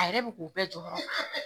A yɛrɛ bɛ k'u bɛɛ jɔyɔrɔ